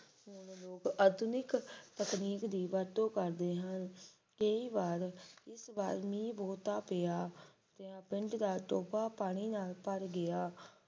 ਹੁਣ ਲੋਕ ਆਧੁਨਿਕ ਤਕਨੀਕ ਦੀ ਵਰਤੋਂ ਕਰਦੇ ਹਨ। ਇਹ ਵਾਰ ਇਸ ਵਾਰ ਵੀ ਬਹੁਤਾ ਪਿਆ ਪਿੰਡ ਦਾ ਟੋਭਾ ਪਾਣੀ ਨਾਲ ਭਰ ਗਿਆ